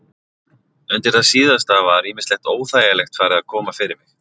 Undir það síðasta var ýmislegt óþægilegt farið að koma fyrir mig.